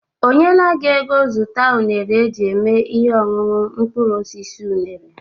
O nyela gị ego zụta unere e ji eme ihe ọñuñụ mkpụrụosisi unere?